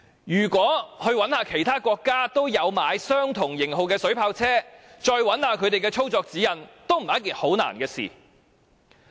如果再到其他也有購買相同型號水炮車的國家搜尋其操作指引，亦絕非一件難事。